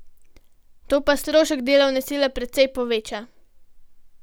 To pa strošek delovne sile precej poveča.